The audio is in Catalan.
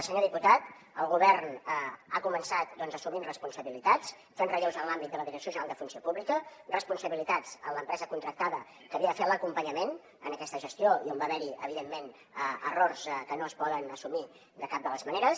senyor diputat el govern ha començat doncs assumint responsabilitats fent relleus en l’àmbit de la direcció general de funció pública responsabilitats en l’empresa contractada que havia de fer l’acompanyament en aquesta gestió i on va haver hi evidentment errors que no es poden assumir de cap de les maneres